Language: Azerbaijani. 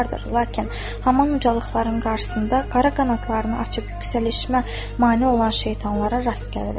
Lakin haman ucalıqların qarsında qara qanadlarını açıb yüksəlişmə mane olan şeytanlara rast gəlirəm.